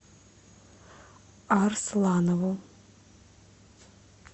арсланову